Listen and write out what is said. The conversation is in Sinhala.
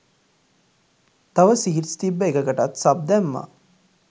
තව සීඩ්ස් තිබ්බ එකකටත් සබ් දැම්මා.